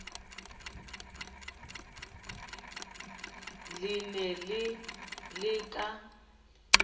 le ne le le ka